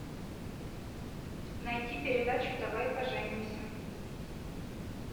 найти передачу давай поженимся